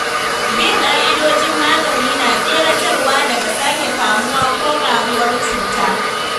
Bin ƙa'idojin magani na tseratarwa daga sake kamuwa ko ƙaruwar cuta.